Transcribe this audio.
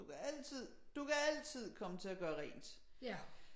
Du kan altid du kan altid komme til at gøre rent